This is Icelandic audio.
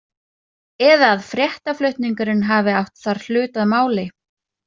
Eða að fréttaflutningurinn hafi átt þar hlut að máli?